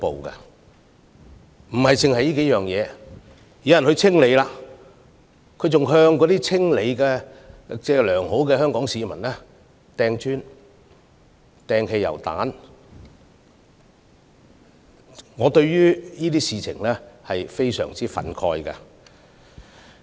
不單如此，當有良好的香港市民試圖清理街道時，他們竟然向他們投擲磚塊和汽油彈，我對此非常憤慨。